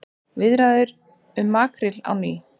Viðræður um makríl á ný